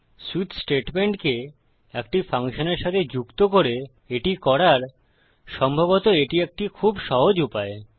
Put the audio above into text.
switch স্টেটমেন্টকে একটি ফাংশনের সাথে যুক্ত করে এটি করার সম্ভবত এটি একটি খুব সহজ উপায়